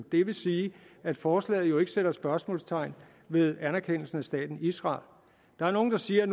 det vil sige at forslaget jo ikke sætter spørgsmålstegn ved anerkendelsen af staten israel der er nogen der siger at